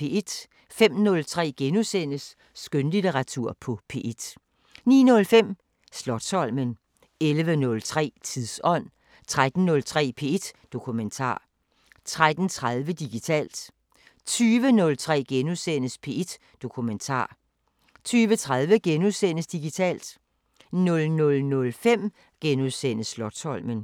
05:03: Skønlitteratur på P1 * 09:05: Slotsholmen 11:03: Tidsånd 13:03: P1 Dokumentar 13:30: Digitalt 20:03: P1 Dokumentar * 20:30: Digitalt * 00:05: Slotsholmen *